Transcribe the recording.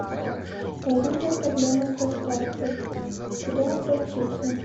возникла проблема с доставкой куда обратиться